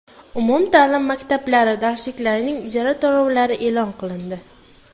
Umumta’lim maktablari darsliklarining ijara to‘lovlari e’lon qilindi.